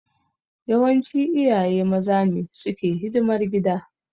Yawanci iyaye maza ne suke hidimar gida.